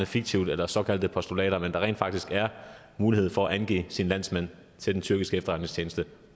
fiktivt eller såkaldte postulater men at der rent faktisk er mulighed for at angive sine landsmænd til den tyrkiske efterretningstjeneste